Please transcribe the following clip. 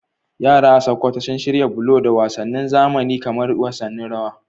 Yara a Sokoto sun shirya bullo da wasannin zamani kamar wasannin rawa